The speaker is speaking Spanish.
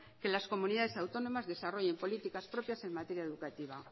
que las comunidades autónomas desarrollen políticas propias en materia educativa